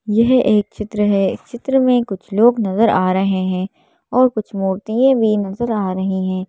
यह एक चित्र है चित्र में कुछ लोग नजर आ रहे है और कुछ मूर्तिए भी नजर आ रही हैं।